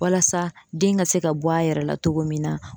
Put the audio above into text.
Walasa den ka se ka bɔ a yɛrɛ la togo min na.